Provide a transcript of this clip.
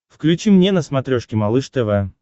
включи мне на смотрешке малыш тв